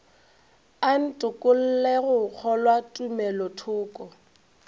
a ntokolle go kgolwa tumelothoko